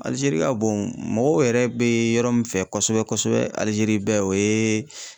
Alizeri ka bon mɔgɔw yɛrɛ be yɔrɔ min fɛ kosɛbɛ kosɛbɛ alizeri bɛɛ o ye